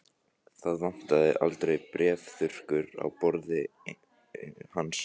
Það vantaði aldrei bréfþurrkurnar á borði hans.